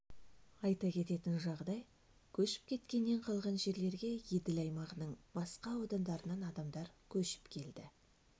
айта кететін жағдай көшіп кеткеннен қалған жерлерге еділ аймағының басқа аудандарынан адамдар көшіп келді